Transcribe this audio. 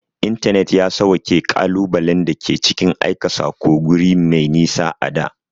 Intanet ya sawwaƙe ƙalubalen da ke cikin aika saƙo guri mai nisa a da.